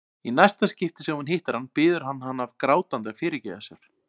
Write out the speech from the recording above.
Í næsta skipti sem hún hittir hann biður hann hana grátandi að fyrirgefa sér.